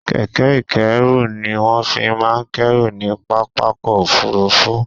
Kẹ̀kẹ́ ìkẹ́rù ni wọ́n fi máa ń kẹ́rù ní pápákọ̀ òfurufú